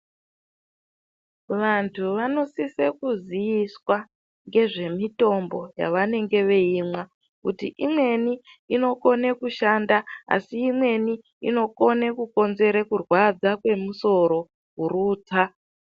Vantu, vanosise kuziiswa ngezvemitombo yavanenge veimwa kuti imweni inokone kushanda asi imweni inokone kukonzere kurwadza kwemusoro, kurutsa.